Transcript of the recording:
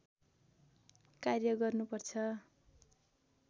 कार्य गर्नुपर्छ